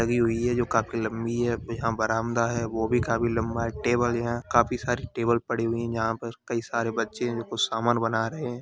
Table लगी हुई है काफ़ी लम्बी है यहाँ बरामदा है वो भी काफ़ी लम्बा है टेबल हैं काफ़ी सारे पड़ी हुई है यहाँ पर कई सारे बच्चे हैं कुछ सामान बना रहे है।